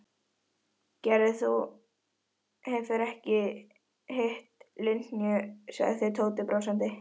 Gerður, þú hefur ekki hitt Linju sagði Tóti brosandi.